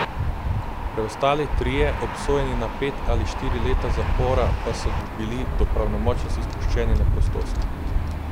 Preostali trije, obsojeni na pet ali štiri leta zapora, pa so bili do pravnomočnosti spuščeni na prostost.